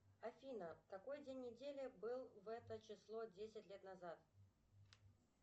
афина какой день недели был в это число десять лет назад